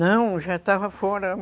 Não, já estava fora.